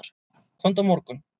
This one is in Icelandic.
Komdu á morgun.